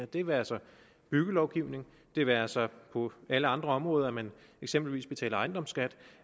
det være sig byggelovgivning det være sig på alle andre områder at man eksempelvis betaler ejendomsskat